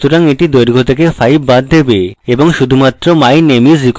সুতরাং এটি দৈর্ঘ্য থেকে 5 বাদ দেবে এবং শুধুমাত্র my name is echo করবে